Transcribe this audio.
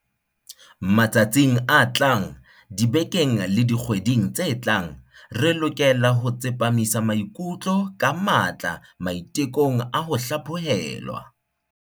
Matsatsing a tlang, dibekeng le dikgweding tse tlang, re lokela ho tsepamisa maikutlo ka matla maite kong a ho hlaphohelwa.